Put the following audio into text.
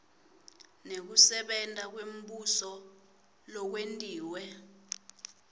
nekusebenta kwembuso lokwentiwe